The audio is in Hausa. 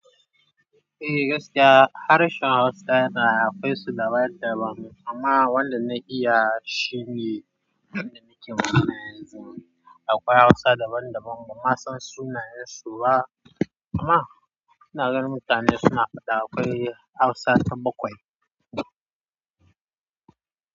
Eh gaskiya harshen Hausa yana akwai su daban-daban amma wanda na iya shine wanda muke magana yanzu. Akwai Hausa daban-daban ban ma san sunayen su ba amma ina ganin mutane suna faɗa akwai Hausa ta bakwai.